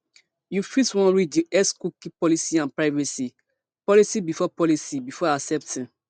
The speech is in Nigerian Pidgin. you fit wan read di xcookie policyandprivacy policybefore policybefore accepting